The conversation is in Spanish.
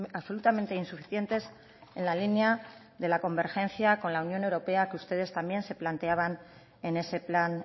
absolutamente insuficientes en la línea de la convergencia con la unión europea que ustedes también se planteaban en ese plan